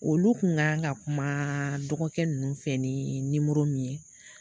Olu kun kan ka kuma dɔgɔkɛ ninnu fɛ ni nimoro min ye